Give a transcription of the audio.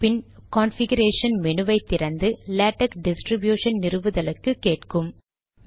பின் configuration menu வை திறந்து LaTeX distribution நிறுவுதலுக்கு கேட்கும்